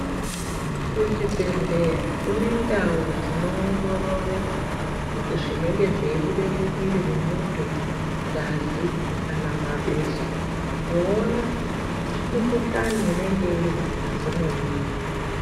Kuchibhedhlera kune ndau dzinoongorore zvinenge zveibuda mumwiri mwemuntu ngazi kana mabesha kuona mikhuhlani inenge iri mungazi mwemuntu.